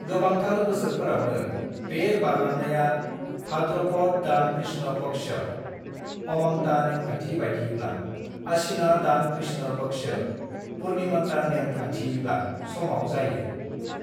"गोबांथार बोसोरफोरावनो, बे बारलांनाया भाद्रपद दान कृष्ण पक्ष (अमांता नेमखान्थि बायदियैब्ला) /अश्वीना दान कृष्ण पक्ष (पूर्णिमानता नेम खानथियैब्ला) समाव जायो।"